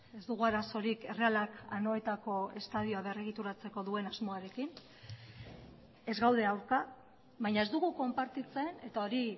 ez dugu arazorik errealak anoetako estadioa berregituratzeko duen asmoarekin ez gaude aurka baina ez dugu konpartitzen eta hori